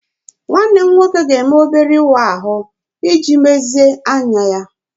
Nwanne m nwoke ga-eme obere ịwa ahụ iji mezie anya ya.